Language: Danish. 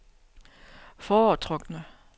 foretrukne